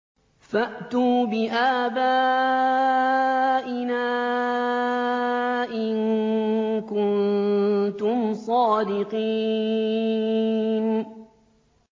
فَأْتُوا بِآبَائِنَا إِن كُنتُمْ صَادِقِينَ